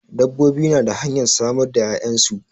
Dabbobi na da hanyar samar da 'ya'yansu.